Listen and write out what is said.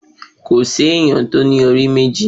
Kò sí ẹni tí ó ní orí méjì